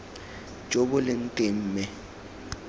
jo bo leng teng mme